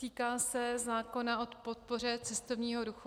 Týká se zákona o podpoře cestovního ruchu.